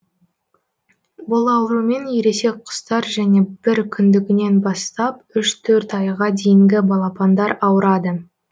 бұл аурумен ересек құстар және бір күндігінен бастап үш төрт айға дейінгі балапандар ауырады